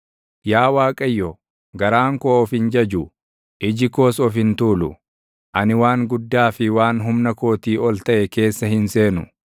Yaa Waaqayyo, garaan koo of hin jaju; iji koos of hin tuulu; ani waan guddaa fi waan humna kootii ol taʼe keessa hin seenu.